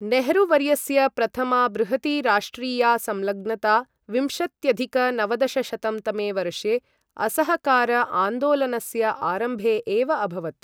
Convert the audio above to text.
नेहरू वर्यस्य प्रथमा बृहती राष्ट्रिया संलग्नता विंशत्यधिक नवदशशतं तमे वर्षे असहकार आन्दोलनस्य आरम्भे एव अभवत्।